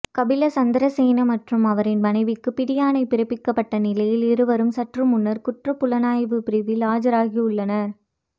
கபில சந்திரசேன மற்றும் அவரின் மனைவிக்கு பிடியாணை பிறப்பிக்கப்பட்ட நிலையில் இருவரும் சற்று முன்னர் குற்றப் புலனாய்வு பிரிவில் ஆஜராகியுள்ளனர்